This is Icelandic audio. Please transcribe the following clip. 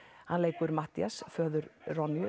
hann lekur Matthías föður